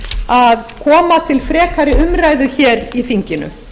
að koma til frekari umræðu í þinginu